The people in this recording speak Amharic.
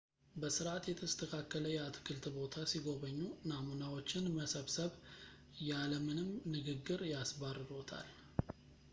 በሥርዓት የተስተካከለ የአትክልት ቦታ ሲጐበኙ፣ «ናሙናዎች»ን መሰብሰብ ያለ ምንም ንግግር ያስባርሮታል